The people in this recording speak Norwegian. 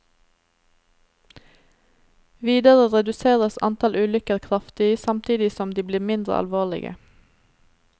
Videre reduseres antall ulykker kraftig, samtidig som de blir mindre alvorlige.